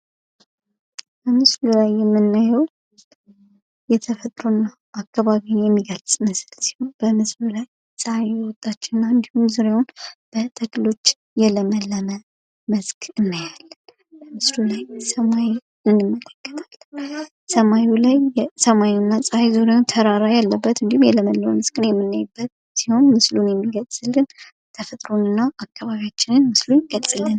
በምስሉ ላይ የምናየው የተፈጥሮ አካባቢን የሚገልጽ ምስል በምስሉ ላይ ጸሐይ እየወጣች ሲሆን እንድሁም ዙሪያውን በተክሎች የለመለመ መስክ እናያለን። ሰማዩና ፀሐይ ዙሪያ ተራራ ያለበት እንድሁም የለመለመ መስክ የምናይበት ሲሆን ምስሉ የሚገልጽልን ተፈጥሮንና አካባቢያችንን ይገልጽልናል።